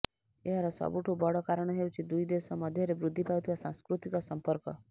ଏହାର ସବୁଠୁ ବଡ଼ କାରଣ ହେଉଛି ଦୁଇ ଦେଶ ମଧ୍ୟରେ ବୃଦ୍ଧି ପାଉଥିବା ସାଂସ୍କୃତିକ ସମ୍ପର୍କ